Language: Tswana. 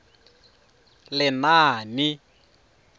lenaane